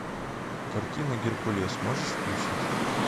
картина геркулес можешь включить